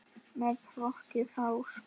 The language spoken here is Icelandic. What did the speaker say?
Með hrokkið hár.